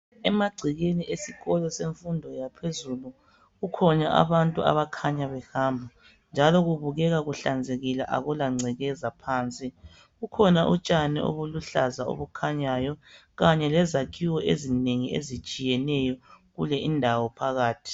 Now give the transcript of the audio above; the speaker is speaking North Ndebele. Emagcekeni esikolo semfundo yaphezulu kukhona abantu abakhanya behamba njalo kubukeka kuhlanzekile akula ngcekeza phansi , kukhona utshani obuluhlaza obukhanyayo Kanye lezakhiwo ezinengi ezitshiyeneyo kule indawo phakathi